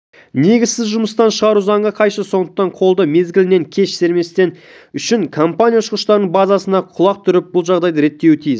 негізсіз жұмыстан шығару заңға қайшы сондықтан қолды мезгілінен кеш сермемес үшін компания ұшқыштардың базынасына құлақ түріп бұл жағдайды реттеуі тиіс